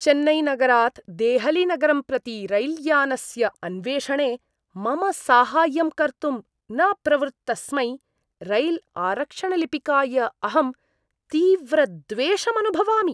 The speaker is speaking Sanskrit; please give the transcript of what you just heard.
चेन्नैनगरात् देहलीनगरं प्रति रैल्यानस्य अन्वेषणे मम साहाय्यं कर्तुं न प्रवृत्तस्मै रैल्आरक्षणलिपिकाय अहं तीव्रद्वेषम् अनुभवामि।